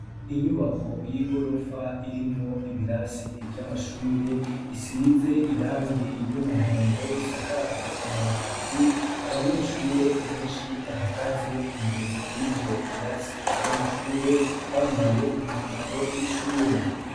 Inyubako y'igorofa irimwo ibirasi vy'amashure isize irangi ry'umuhondo isakaje amabati abanyeshure beshi bahagaze imbere yivyo birasi vy'amashure bambaye umwambaro w'ishure